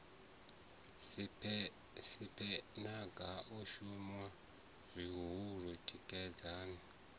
siphegana o shunwa zwihulu tikedzani